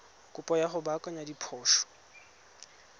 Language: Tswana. kopo ya go baakanya diphoso